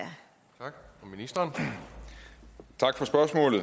agter ministeren